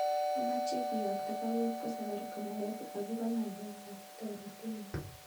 Amache kiyokto baruet kwo Safaricom Nairobi akobo ngalek ab toretenyun